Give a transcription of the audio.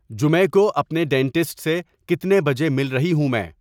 جمع کو اپنے ڈینٹسٹ سے کتنے بجے مل رہی ہوں میں